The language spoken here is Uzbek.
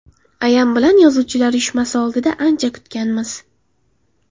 Ayam bilan yozuvchilar uyushmasi oldida ancha kutganmiz.